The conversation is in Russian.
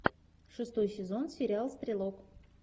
шестой сезон сериал стрелок